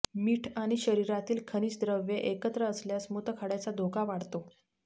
मीठ आणि शरीरातील खनिज द्रव्ये एकत्र आल्यास मूतखड्याचा धोका वाढतो